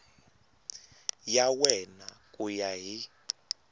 ya wena ku ya hi